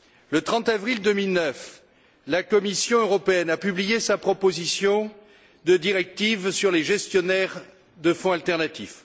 Le 30 avril 2009, la Commission européenne a publié sa proposition de directive sur les gestionnaires de fonds alternatifs.